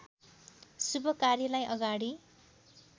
शुभ कार्यलाई अगाडि